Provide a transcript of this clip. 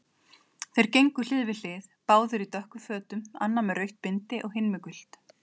Þeir gengu hlið við hlið, báðir í dökkum fötum, annar með rautt bindi, hinn gult.